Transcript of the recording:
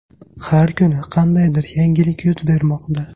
Har kuni qandaydir yangilik yuz bermoqda.